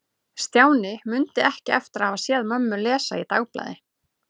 Stjáni mundi ekki eftir að hafa séð mömmu lesa í dagblaði.